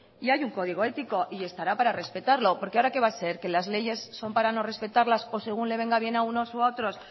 y hay un código ético y estará para respetarlo porque ahora qué va a ser que las leyes son para no respetarlas o según le venga bien a unos o a otros